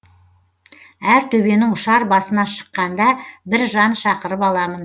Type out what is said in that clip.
әр төбенің ұшар басына шыққанда бір жан шақырып аламын